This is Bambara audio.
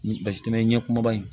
Ni basi tɛmɛ ɲɛkuma ba ye